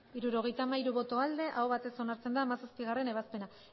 abstentzioa hirurogeita hamairu bai aho batez onartzen da hamazazpigarrena ebazpena